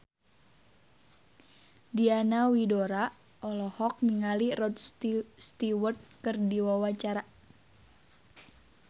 Diana Widoera olohok ningali Rod Stewart keur diwawancara